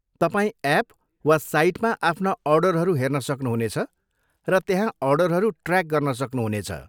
तपाईँ एप वा साइटमा आफ्ना अर्डरहरू हेर्न सक्नुहुनेछ र त्यहाँ अर्डरहरू ट्र्याक गर्न सक्नुहुनेछ।